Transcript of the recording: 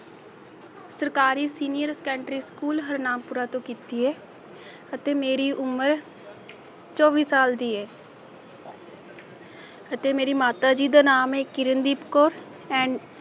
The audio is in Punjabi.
ਸਰਕਾਰੀ ਸੀਨੀਅਰ ਸੈਕੰਡਰੀ ਸਕੂਲ ਹਰਨਾਮਪੁਰਾ ਤੋਂ ਕੀਤੀ ਹੈ ਅਤੇ ਮੇਰੀ ਉਮਰ ਚੋਵੀ ਸਾਲ ਦੀ ਹੈ ਅਤੇ ਮੇਰੀ ਮਾਤਾ ਜੀ ਦਾ ਨਾਮ ਹੈ ਕਿਰਨਦੀਪ ਕੌਰ and